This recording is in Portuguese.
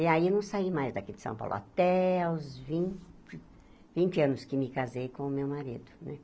E aí eu não saí mais daqui de São Paulo, até os vin vinte anos que me casei com o meu marido né.